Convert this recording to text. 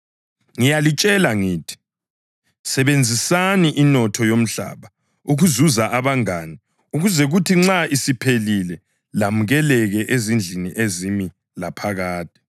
Ngiyalitshela ngithi, sebenzisani inotho yomhlaba ukuzuza abangane ukuze kuthi nxa isiphelile lamukeleke ezindlini ezimi laphakade.